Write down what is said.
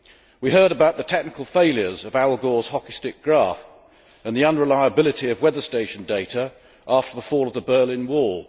We heard about the technical failures of Al Gore's hockey stick graph and the unreliability of weather station data after the fall of the Berlin Wall.